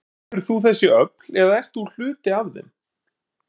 Styður þú þessi öfl eða ert þú hluti af þeim?